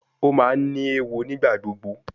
O ma ni ewo nigbagbogbo